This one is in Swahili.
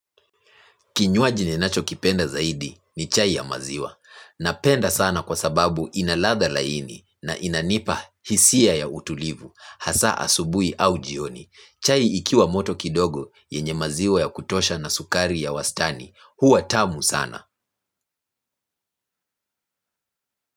Kinywaji ninachokipenda zaidi ni chai ya maziwa. Napenda sana kwa sababu inaladha laini na inanipa hisia ya utulivu, hasa asubuhi au jioni. Chai ikiwa moto kidogo yenye maziwa ya kutosha na sukari ya wastani. Huwa tamu sana.